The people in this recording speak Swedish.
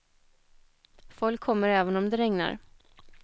Folk kommer även om det regnar.